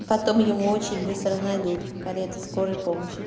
и потом его очень быстро найдут карета скорой помощи